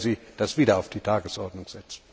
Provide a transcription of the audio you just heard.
Werden Sie das wieder auf die Tagesordnung setzen?